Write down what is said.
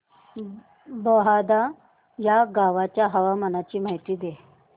बहादा या गावाच्या हवामानाची माहिती दे